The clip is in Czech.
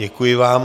Děkuji vám.